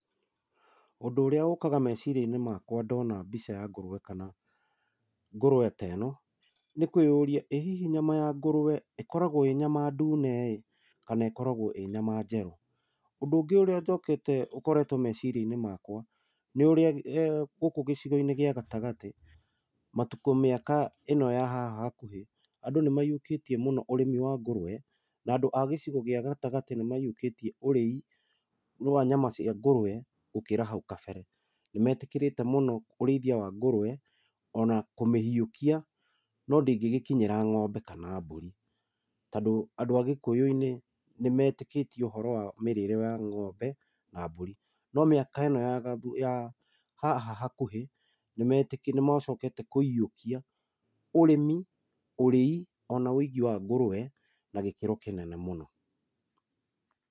Ũndũ ũrĩa ũkaga meciria-inĩ makwa ndona mbica ya ngũrũwe kana ngũrũwe ta ĩno, nĩ kwĩyũria, ĩ hihi ya ngũrũwe ĩkoragwo ĩ nyama ndune ĩ, kana ĩkoragwo ĩ nyama njerũ? Ũndũ ũrĩa njokete ũkoretwo meciria-inĩ makwa, nĩ ũrĩa gũkũ gĩcigo-inĩ gĩa gatagatĩ matukũ mĩaka ĩno ya haha hakuhĩ, andũ nĩ maiyũkĩtie mũno ũrĩmi wa ngũrũwe, na andũ a gĩcigo gĩa gatagatĩ nĩ maiyũkĩtie ũrĩi wa nyama cia ngũrũwe gũkĩra hau kabere. Nĩ metĩkĩrĩte mũno ũrĩithia wa ngũrũwe, ona kũmĩhiũkia. No ndĩgĩkinyĩra ng'ombe kana mbũri. Tondũ andũ a gĩkũyũ-inĩ, nĩ metĩkĩtie ũhoro wa mĩrĩre ya ng'ombe, na mbũri. No mĩaka ĩno ya gatha, ya haha hakuhĩ, nĩ nĩ macokete kũiyũkia, ũrĩmi, ũrĩi, ona wĩigi wa ngũrũwe na gĩkĩro kĩnene mũno.